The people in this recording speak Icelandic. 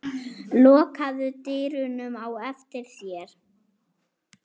Lokaðu dyrunum á eftir þér.